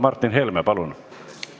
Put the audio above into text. Martin Helme, palun!